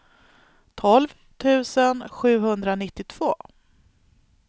tolv tusen sjuhundranittiotvå